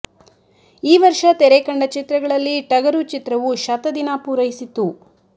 ಈ ವರ್ಷ ತೆರೆ ಕಂಡ ಚಿತ್ರಗಳಲ್ಲಿ ಟಗರು ಚಿತ್ರವು ಶತ ದಿನ ಪೂರೈಸಿತ್ತು